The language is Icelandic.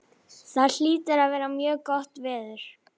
Það hlýtur að vera mjög gott veður.